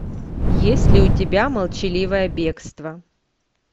есть ли у тебя молчаливое бегство